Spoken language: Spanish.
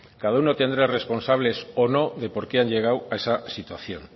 cada una tendrá responsables o no de por qué han llegado a esa situación